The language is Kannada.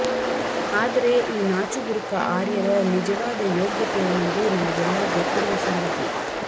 ಆದರೆ ಈ ನಾಚುಬುರುಕ ಆರ್ಯರ ನಿಜವಾದ ಯೋಗ್ಯತೆ ಏನೆಂದು ನಮಗೆಲ್ಲಾ ಗೊತ್ತಿರುವ ಸಂಗತಿ